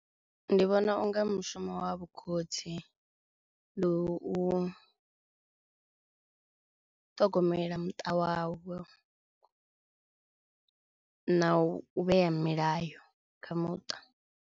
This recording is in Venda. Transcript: Ndi vhona unga mushumo wa vhu khotsi ndi u ṱhogomela muṱa wa vho na u vhea milayo kha muṱa.